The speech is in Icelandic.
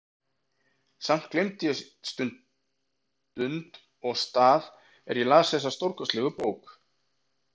Samt gleymdi ég stund og stað er ég las þessa stórkostlegu bók.